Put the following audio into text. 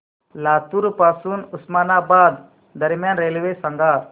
लातूर पासून उस्मानाबाद दरम्यान रेल्वे सांगा